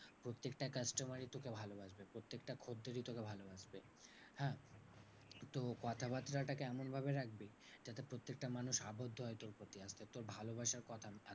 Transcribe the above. প্রত্যেকটা customer ই তোকে ভালো বাসবে। প্রত্যেকটা খদ্দেরই তোকে ভালো বাসবে। হ্যাঁ? তো কথাবার্তা টাকে এমন ভাবে রাখবি যাতে প্রত্যেকটা মানুষ আবদ্ধ হয় তোর প্রতি আর তোর ভালবাসার কোথায়।